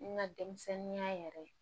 N ka denmisɛnninya yɛrɛ